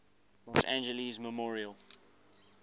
los angeles memorial